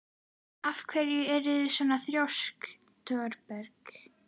Af hverju ertu svona þrjóskur, Thorberg?